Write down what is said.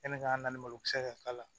Yanni k'an na ni malokisɛ ka k'a la